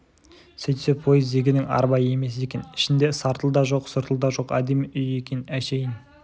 сөйтсе пойыз дегенің арба емес екен ішінде сартыл да жоқ сұртыл да жоқ әдемі үй екен әншейін